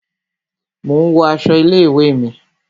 Mo ń wo aṣọ ilé ìwé mi